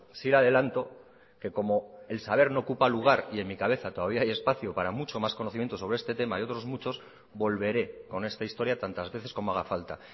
sí le adelanto que como el saber no ocupa lugar y en mi cabeza todavía hay espacio para mucho más conocimiento sobre este tema y otros muchos volveré con esta historia tantas veces como haga falta